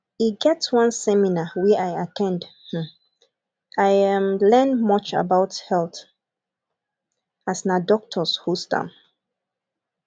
e get one seminar wey i at ten d um i um learn much about health um as na doctors host am